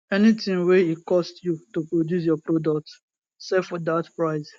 anytin wey e cost you to produce your product sell for dat price